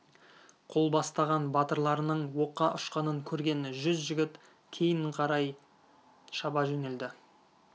қол бастаған батырларының оққа ұшқанын көрген жүз жігіт кейін қарай шаба жөнелді